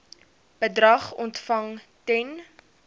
bedrag ontvang ten